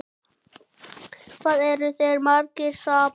Hvað eru þeir margir saman?